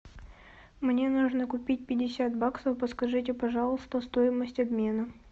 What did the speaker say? мне нужно купить пятьдесят баксов подскажите пожалуйста стоимость обмена